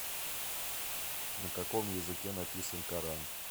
на каком языке написан коран